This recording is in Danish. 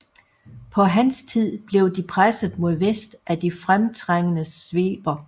På hans tid blev de presset mod vest af de fremtrængende sveber